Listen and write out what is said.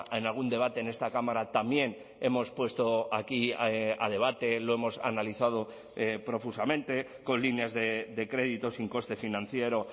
en algún debate en esta cámara también hemos puesto aquí a debate lo hemos analizado profusamente con líneas de crédito sin coste financiero